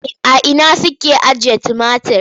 A ina suke ajiye tumatir?